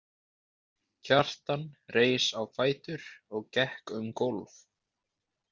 Kjartan reis á fætur og gekk um gólf.